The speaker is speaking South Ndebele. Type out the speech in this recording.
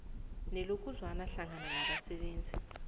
nelokuzwana hlangana nabasebenzi